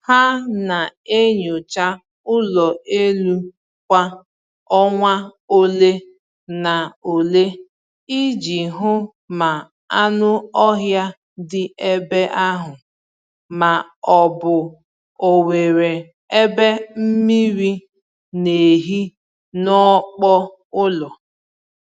Ha na-enyocha ụlọ elu kwa ọnwa ole na ole iji hụ ma anụ ọhịa dị ebe ahụ, ma ọ bụ onwere ebe mmiri n'ehi n’ọkpọ ụlọ